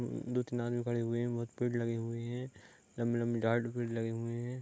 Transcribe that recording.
दो तीन आदमी खड़े हुए हैं बहुत पेड़ लगे हुए हैं | लम्बी लम्बी लगे हुए हैं |